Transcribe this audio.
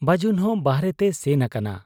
ᱵᱟᱹᱡᱩᱱ ᱦᱚᱸ ᱵᱟᱦᱨᱮ ᱛᱮᱭ ᱥᱮᱱ ᱟᱠᱟᱱᱟ ᱾